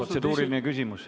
Protseduuriline küsimus.